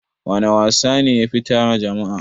Wana wasa ne yafi tara jama'a?